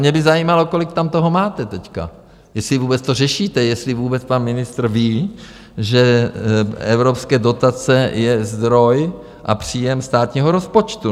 Mě by zajímalo, kolik tam toho máte teď, jestli vůbec to řešíte, jestli vůbec pan ministr ví, že evropské dotace je zdroj a příjem státního rozpočtu?